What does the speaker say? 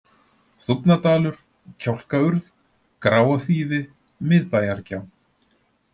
Þúfnadalur, Kjálkaurð, Gráaþýfi, Miðbæjargjá